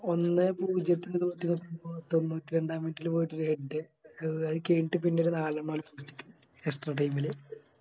ഒന്നേ പൂജ്യത്തിന് തൊണ്ണൂറ്റിരണ്ടാ Minute ല് പോയിട്ടൊര് Head എ അത് കെയിഞ്ഞിട്ട് ഒര് നാലെണ്ണം Extra time ല്